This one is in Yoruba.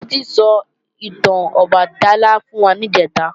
Títí sọ ìtàn Ọbàtálá fún wa níjẹ̀ta